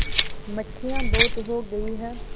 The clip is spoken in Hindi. मक्खियाँ बहुत हो गई हैं